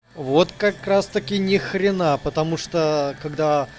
вот как раз таки ни хрена потому что когда